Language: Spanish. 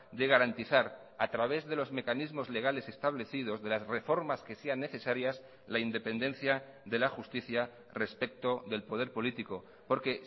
de garantizar a través de los mecanismos legales establecidos de las reformas que sean necesarias la independencia de la justicia respecto del poder político porque